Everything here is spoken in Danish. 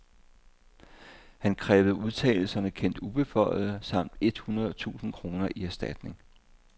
Han krævede udtalelserne kendt ubeføjede samt et hundrede tusind kroner i erstatning.